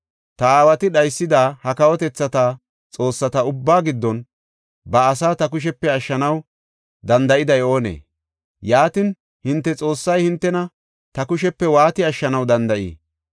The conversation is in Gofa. Ta aawati dhaysida ha kawotethata xoossata ubbaa giddon ba asaa ta kushepe ashshanaw danda7iday oonee? Yaatin, hinte Xoossay hintena ta kushepe waati ashshanaw danda7ii?